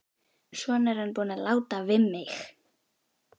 Svona er hann búinn að láta við mig.